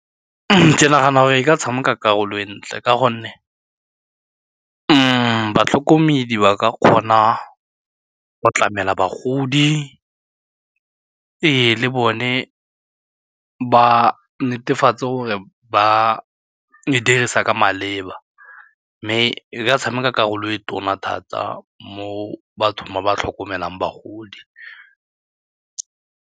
Ke nagana gore e ka tshameka karolo e ntle ka gonne mo batlhokomedi ba ka kgona go tlamela bagodi, ee le bone ba netefatse gore ba e dirisa ka maleba mme e ka tshameka karolo e tona thata mo bathong ba ba tlhokomelang bagodi.